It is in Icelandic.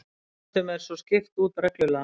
Tegundum er svo skipt út reglulega